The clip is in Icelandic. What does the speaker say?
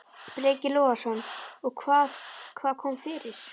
Breki Logason: Og hvað, hvað kom fyrir?